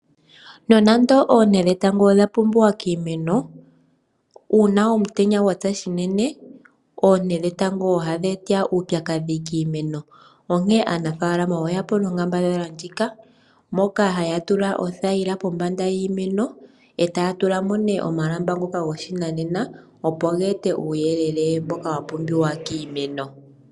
Nonando oonte dhetango odha pumbiwa kiimeno, uuna omutenya gwatsa shinene oonte dhetango ohadhi eta uupyakadhi kiimeno. Onkene ano aanafalama oya mono onkambadhala ndjika moks haya tula othaila pombanda yiimeno eta tulamo nee omalamba ngoka goshinane opo ge ete uuyelele mboka wa pumbiwa kiimeno.